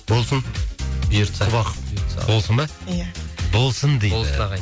болсын бұйыртса болсын ба ия болсын дейді болсын ағайын